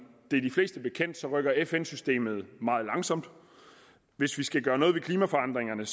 det er de fleste bekendt rykker fn systemet meget langsomt og hvis vi skal gøre noget ved klimaforandringerne